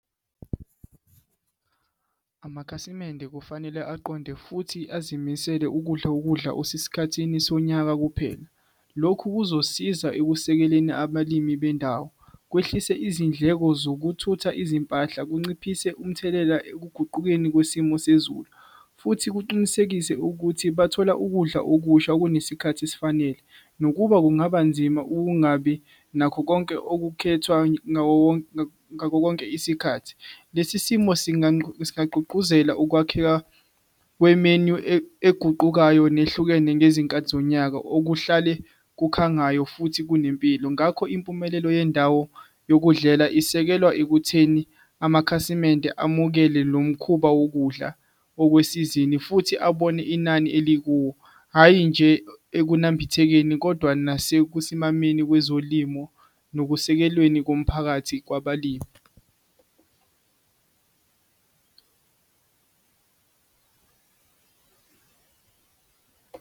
Amakhasimende kufanele aqonde futhi azimisele ukudla ukudla osesikhathini sonyaka kuphela. Lokhu kuzosiza ekusekeleni abalimi bendawo kwehlise izindleko zokuthutha izimpahla, kunciphise umthelela ekuguqukeni kwesimo sezulu futhi kuqinisekise ukuthi bathola ukudla okusha okunesikhathi esifanele. Nokuba kungaba nzima ukungabi nakho konke okukhethwa ngako konke isikhathi. Lesi simo singqungquzela ukwakheka kwemenyu eguqukayo nehlukene ngezinkathi zonyaka okuhlale kukhangayo futhi kunempilo. Ngakho impumelelo yendawo yokudlela isekelwa ekutheni amakhasimende amukele lo mkhuba wokudla okwesizini futhi abone inani elikuwo, hhayi nje ekunambithekeni, kodwa nasekusimameni kwezolimo nokusekelweni komphakathi kwabalimi.